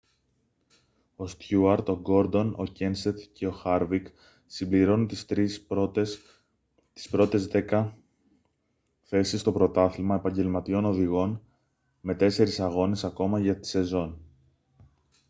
ο στιούαρτ ο γκόρντον ο κένσεθ και ο χάρβικ συμπληρώνουν τις πρώτες δέκα θέσεις στο πρωτάθλημα επαγγελματιών οδηγών με τέσσερις αγώνες ακόμα για τη σεζόν